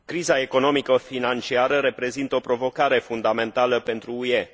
Criza economico financiară reprezintă o provocare fundamentală pentru UE.